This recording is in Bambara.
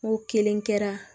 N ko kelen kɛra